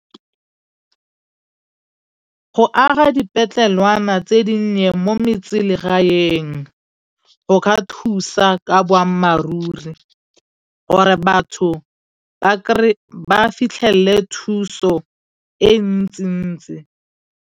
Go aga dipetlelwana tse di nnye mo metselegaeng, go ka thusa ka boammaaruri gore batho ba fitlhele thuso e ntsi-ntsi.